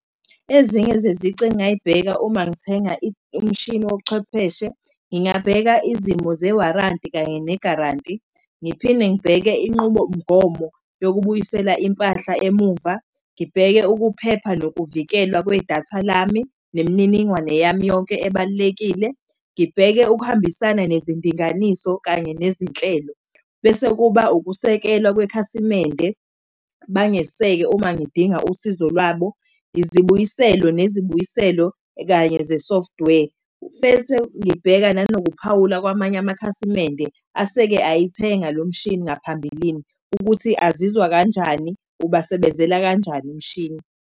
Ezinye zezici engay'bheka uma ngithenga umshini wobuchwepheshe, ngingabheka izimo ze-warranty kanye ne-guarantee. Ngiphinde ngibheke inqubomgomo yokubuyisela impahla emuva, ngibheke ukuphepha nokuvikelwa kwedatha lami nemininingwane yami yonke ebalulekile. Ngibheke ukuhambisana nezindinganiso kanye nezinhlelo, bese kuba ukusekelwa kwekhasimende. Bangeseke uma ngidinga usizo lwabo. Izibuyiselwe nezibuyiselwo kanye ze-software. Bese ngibheka nanokuphawula kwamanye amakhasimende aseke ayithenga lo mshini ngaphambilini ukuthi azizwa kanjani, ubasebenzela kanjani umshini.